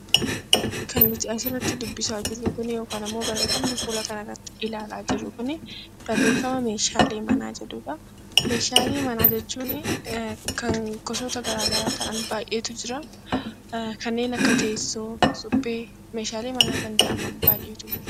Meeshaalee manaa jechuun kan gosoota garaagaraa ta'an baay'eetu jira. Kanneen akka teessoo, suphee meeshaalee manaa kan jedhaman baay'eetu jiru.